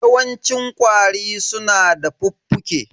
Yawancin ƙwari su na da fuffuke.